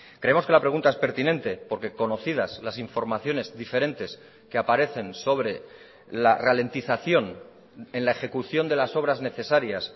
creemos que la pregunta es pertinente porque conocidas las informaciones diferentes que aparecen sobre la ralentización en la ejecución de las obras necesarias